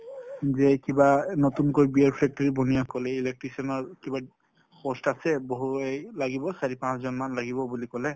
যে কিবা নতুনকৈ factory electrician ৰ কিবা post আছে বহু এই লাগিব চাৰি পাঁচ জন মান লাগিব বুলি কলে।